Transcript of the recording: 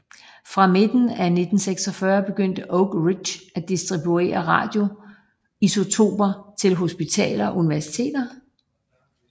Fra midten af 1946 begyndte Oak Ridge at distribuere radioisotoper til hospitaler og universiteter